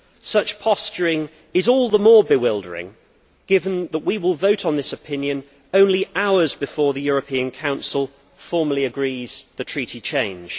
Such posturing is all the more bewildering given that we will vote on this opinion only hours before the European Council formally agrees the Treaty change.